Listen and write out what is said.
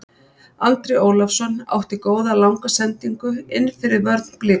Andri Ólafsson átti góða langa sendingu innfyrir vörn Blikana.